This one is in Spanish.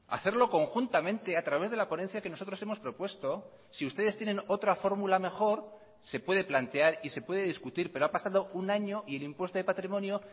hacerlo conjuntamente a través de la ponencia que nosotros hemos propuesto si ustedes tienen otra fórmula mejor se puede plantear y se puede discutir pero ha pasado un año y el impuesto de patrimonio